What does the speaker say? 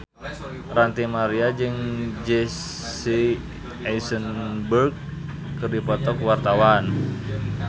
Ranty Maria jeung Jesse Eisenberg keur dipoto ku wartawan